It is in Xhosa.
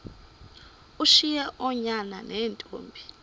ushiye oonyana neentombi